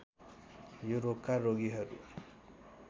यो रोगका रोगीहरू